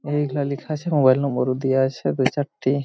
এই গুলা লিখা আছে মোবাইল নম্বর-ও দিয়া আছে দু চারটি।